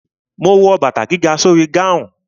Ma wo bàtà gíga sórí gáhùn.